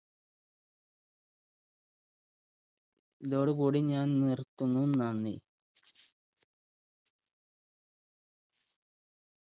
ഇതോടു കൂടി ഞാന്‍ നിർത്തുന്നു, നന്ദി.